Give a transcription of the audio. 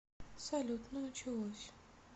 салют ну началось